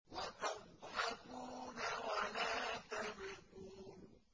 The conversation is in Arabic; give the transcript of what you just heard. وَتَضْحَكُونَ وَلَا تَبْكُونَ